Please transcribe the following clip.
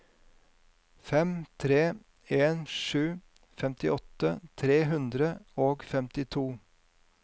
fem tre en sju femtiåtte tre hundre og femtito